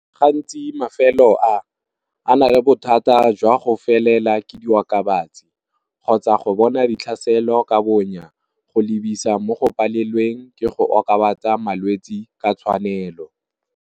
Gantsi mafelo a, a nale bothata jwa go felela ke diokabatsi, kgotsa go bona ditlhaselo ka bonya go lebisa mo go palelweng ke go okobatsa malwetsi ka tshwanelo.